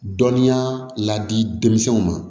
Dɔnniya ladi denmisɛnw ma